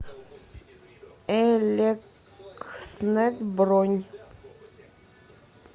элекснет бронь